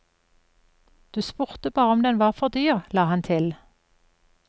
Du spurte bare om den var for dyr, la han til.